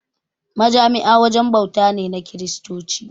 Majami'a wajen bauta ne na Kiristoci.